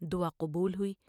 دعا قبول ہوئی ۔